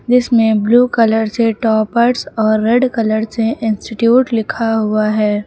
जिसमें blue colour से toppers और रेड कलर से इंस्टिट्यूट लिखा हुआ है।